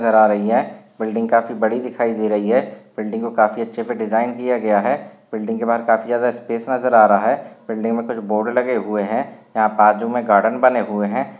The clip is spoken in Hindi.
नज़र आ रही है बिल्डिंग काफी बड़ी दिखाई दे रही है बिल्डिंग को काफी अच्छी डिज़ाइन किया गया है बिल्डिंग के बाहर काफी ज्यादा स्पेस नज़र आ रहा है बिल्डिंग मे कुछ बोर्ड लगे हुए है यहा बाजू मे गार्डेन बने हुए है।